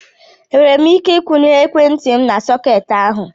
Enwere m ike ikwụnye ekwentị m na sọketi ahụ.